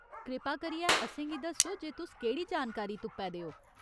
कृपा करियै असेंगी दस्सो जे तुस केह्ड़ी जानकारी तुप्पै दे ओ।